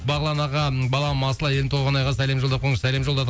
бағлан ағам балам балам асыл айым толғанайға сәлем жолдап қойыңызшы сәлем жолдадық